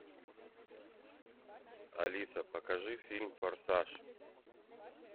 алиса покажи фильм форсаж